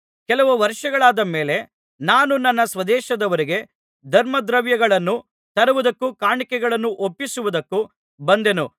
ಕೆಲವು ವರ್ಷಗಳಾದ ಮೇಲೆ ನಾನು ನನ್ನ ಸ್ವದೇಶದವರಿಗೆ ಧರ್ಮದ್ರವ್ಯಗಳನ್ನು ತರುವುದಕ್ಕೂ ಕಾಣಿಕೆಗಳನ್ನು ಒಪ್ಪಿಸುವುದಕ್ಕೂ ಬಂದೆನು